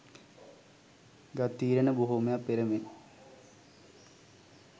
ගත් තීරණ බොහෝමයක් පෙර මෙන්